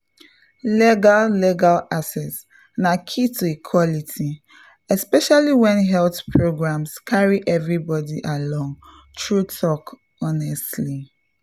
legal legal access na key to equality especially when health programs carry everybody along — true talk honestly!